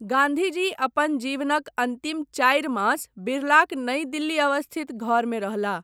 गाँधीजी अपन जीवनक अन्तिम चारि मास बिरलाक नई दिल्ली अवस्थित घरमे रहलाह।